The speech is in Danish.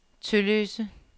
Tølløse